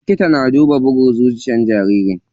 Likita yana duba bugun zuciyar jaririn.